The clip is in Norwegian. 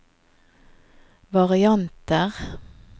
varianter